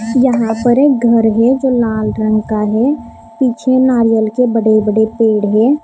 यहां पर एक घर है जो लाल रंग का है पीछे नारियल के बड़े-बड़े पेड़ है।